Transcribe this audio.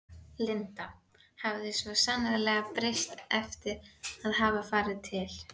Linda hafði svo sannarlega breyst eftir að hafa farið til